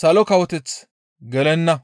Salo Kawoteth gelenna.